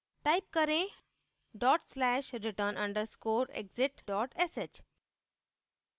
type करेंः dot slash return underscore exit dot sh